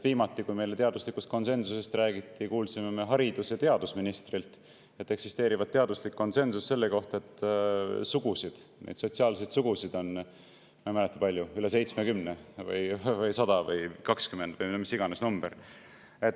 Viimati rääkis meile teaduslikust konsensusest haridus- ja teadusminister, kes, et eksisteerivat teaduslik konsensus selle kohta, et sotsiaalseid sugusid on – ma ei mäleta, kui palju – üle 70 või 100 või 20 või no mis iganes number.